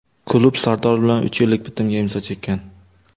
Klub Sardor bilan uch yillik bitimga imzo chekkan.